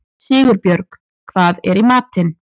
Sigurbjörg, hvað er í matinn?